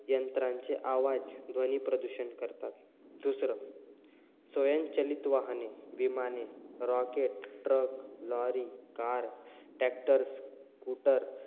यंत्रांचे आवाज ध्वनी प्रदूषण करतात. दुसरं, स्वयंचलित वाहने, विमाने, rocket, truck, lorry, car, tractor, scooter,